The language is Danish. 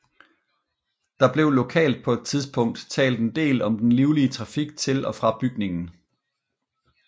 Der blev lokalt på et tidspunkt talt en del om den livlige trafik til og fra bygningen